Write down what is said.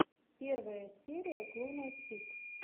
первая серия клуна тик